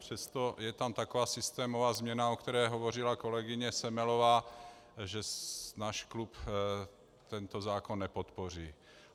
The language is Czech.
Přesto je tam taková systémová změna, o které hovořila kolegyně Semelová, že náš klub tento zákon nepodpoří.